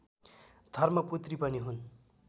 धर्मपुत्री पनि हुन्